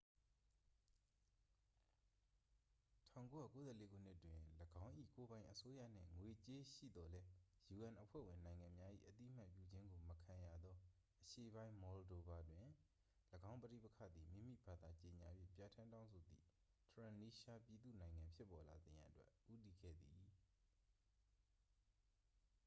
1994 ခုနှစ်တွင် ၎င်း၏ ကိုယ်ပိုင်အစိုးရနှင့် ငွေကြေးရှိသော်လည်း un အဖွဲ့ဝင်နိုင်ငံများ၏ အသိအမှတ်ပြုခြင်းကိုမခံရသော အရှေ့ပိုင်း မော်လ်ဒိုဗာတွင် ၎င်းပဋိပက္ခသည် မိမိဘာသာကြေငြာ၍ပြဌာန်းတောင်းဆိုသည့် ထရန်နီးရှားပြည့်သူ့နိုင်ငံ ဖြစ်ပေါ်လာစေရန်အတွက် ဦးတည်ခဲ့သည်